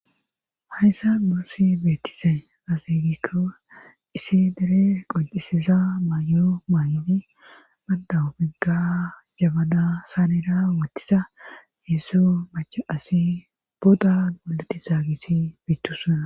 hayssa nusi beettizay aze gikko issi dere qoncisiza mayo maay7di baddawu bigga jabada saanira wottisa heessu mache asi booda goleti zaagisi biittusuna